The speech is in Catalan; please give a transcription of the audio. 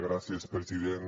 gràcies president